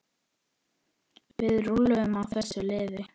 Við rúllum á þessu liði.